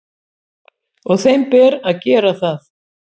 Og þeim ber að gera það.